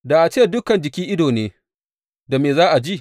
Da a ce dukan jiki ido ne, da me za a ji?